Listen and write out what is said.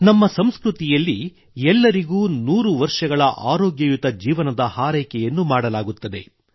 ನಮ್ಮ ಸಂಸ್ಕೃತಿಯಲ್ಲಿ ಎಲ್ಲರಿಗೆ ನೂರು ವರುಷಗಳ ಆರೋಗ್ಯಯುತ ಜೀವನದ ಹಾರೈಕೆಯನ್ನು ಮಾಡಲಾಗುತ್ತದೆ